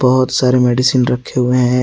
बहुत सारे मेडिसिन रखे हुए हैं।